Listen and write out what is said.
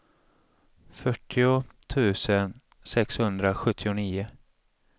fyrtio tusen sexhundrasjuttionio